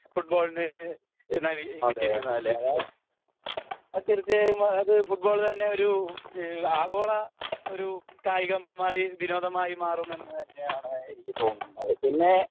ഫുട്ബോളിന് കിട്ടിയിരിക്കുന്നത് അല്ലെ അത് തീർച്ചയായും അത് ഫുട്ബോൾ തന്നെ ഒരു ഈഹ് ആഗോള ഒരു കായികമായി വിനോദമായി മാറുമെന്ന് തന്നെയാണ് എനിക്ക് തോന്നുന്നത് പിന്നെ